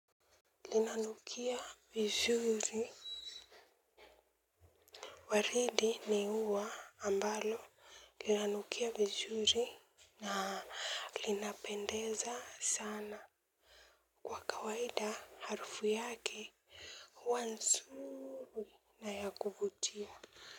Lina nukia vizuri waridi ni ua ambalo lina nukia vizuri na linapendeza sana kwa kawaida harufu yake huwa nzuri na ya kuvutia.